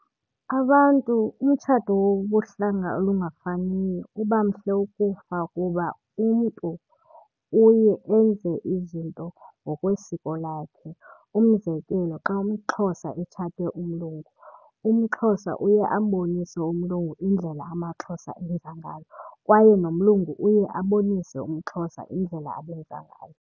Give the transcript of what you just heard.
Abantu, umtshato wobuhlanga olungafaniyo uba mhle ukufa kuba umntu uye enze izinto ngokwesiko lakhe. Umzekelo, xa umXhosa etshate umlungu, umXhosa uye ambonise umlungu indlela amaXhosa enza ngayo kwaye nomlungu uye abonise umXhosa indlela abenza ngayo.